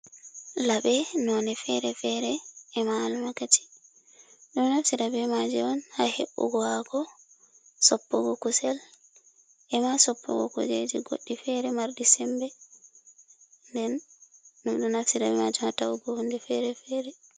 Laɓe none fere-fere e ma 'almakaci ɗo naftira be ma' ji on ha he’ugo ha' ko soppugo kusel, ema soppugo kujeji goɗɗi fere marɗi sembe den ɗum ɗo naftira be ma'jum ha ta’ugo hunde fere - fere.